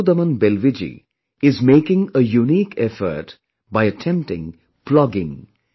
Ripudaman Belviji is making a unique effort by attempting plogging